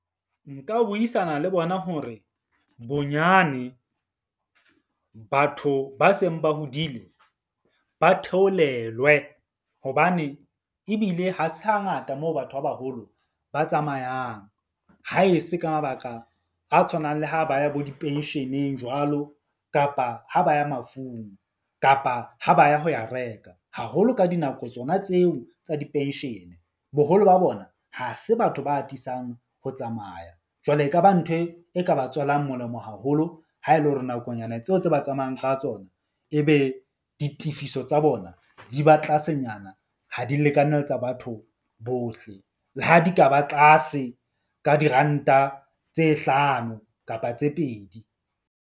Nka buisana le bona hore bonyane batho ba seng ba hodile ba theolelwe. Hobane ebile ha se hangata moo batho ba baholo ba tsamayang, ha e se ka mabaka a tshwanang le ha ba ya bo di-pension-eng jwalo. Kapa ha ba ya mafung, kapa ha ba ya ho ya reka haholo ka dinako tsona tseo tsa di-pension-e. Boholo ba bona ha se batho ba atisang ho tsamaya. Jwale ekaba ntho e ka ba tswelang molemo haholo ha e le hore nakonyana tseo tse ba tsamayang ka tsona e be ditefiso tsa bona di ba tlasenyana, ha di lekane le tsa batho bohle, le ha di ka ba tlase ka diranta tse hlano kapa tse pedi.